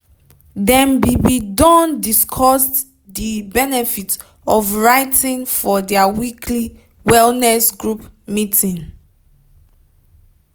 dem be be don discussed de benefit of writing for their weekly wellness group meeting.